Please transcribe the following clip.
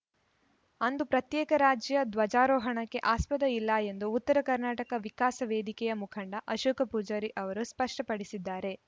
ಅಂದು ಪ್ರತ್ಯೇಕ ರಾಜ್ಯ ಧ್ವಜಾರೋಹಣಕ್ಕೆ ಆಸ್ಪದ ಇಲ್ಲ ಎಂದು ಉತ್ತರ ಕರ್ನಾಟಕ ವಿಕಾಸ ವೇದಿಕೆಯ ಮುಖಂಡ ಅಶೋಕ ಪೂಜಾರಿ ಅವರು ಸ್ಪಷ್ಟಪಡಿಸಿದ್ದಾರೆ